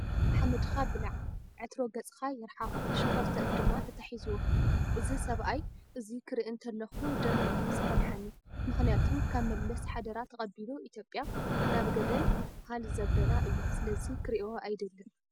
ሓመድካ ብላዕ! ዕትሮ ገፅካ ይርሓቅ! ሸኮርተት ድማ ተታሒዝዎ። እዚ ሰባኣይ እዙይ ክሪኢ እንተለኩ ደመይ እዩ ዝፈልሐኒ ምክንያቱ ካብ መለስ ሓደራ ተቀቢሉ ኢትዮጰያ ናብ ገደል ሃል ዘበላ እዩ ስለዚ ክሪኦ ኣይደልን።